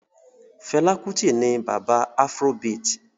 Fela Kuti ni bàbá afrobeat